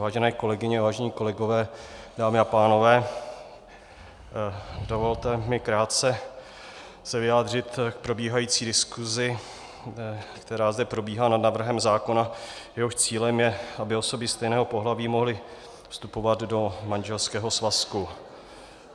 Vážené kolegyně, vážení kolegové, dámy a pánové., dovolte mi krátce se vyjádřit k probíhající diskuzi, která zde probíhá nad návrhem zákona, jehož cílem je, aby osoby stejného pohlaví mohly vstupovat do manželského svazku.